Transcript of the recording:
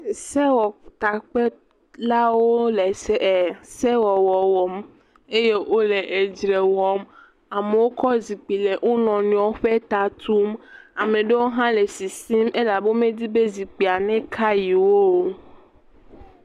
Esewɔtakpelawo le se..e…sewɔwɔm eye wole edzre wɔm, amewo kɔ zikpui le wo nɔnɔewo ƒe ta tum, ame aɖewo hã le sisim elabe womedi be zikpuia naka yewo o.